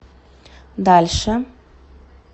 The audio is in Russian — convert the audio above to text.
дальше